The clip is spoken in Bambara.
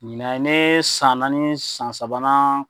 Ɲinɛn ye ne san naani ni san sabanan.